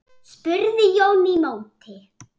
spurði Jón í móti.